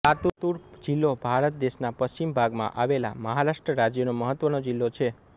લાતૂર જિલ્લો ભારત દેશના પશ્ચિમ ભાગમાં આવેલા મહારાષ્ટ્ર રાજ્યનો મહત્વનો જિલ્લો છે